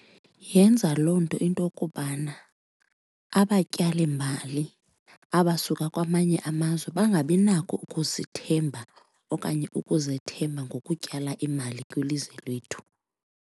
Yenza loo nto intokubana abatyalimali abasuka kwamanye amazwe bangabi nako ukusithemba okanye ukuzethemba ngokutyala imali kwilizwe lethu.